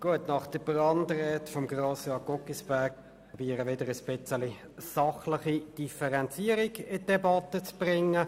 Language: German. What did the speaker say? Nach der Brandrede von Grossrat Guggisberg versuche ich, wieder eine sachliche Differenzierung in die Debatte zu bringen.